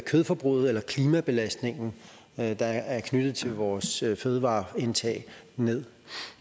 kødforbruget eller klimabelastningen der er knyttet til vores fødevareindtag ned